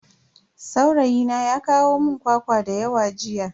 Saurayina ya kawo mun kwakwa dayawa jiya.